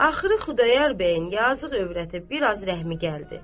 Axırı Xudayar bəyin yazıq övrətinə biraz rəhmi gəldi.